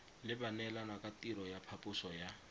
le baneelanakatirelo ya phaposo ya